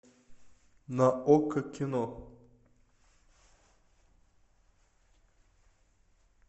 на окко кино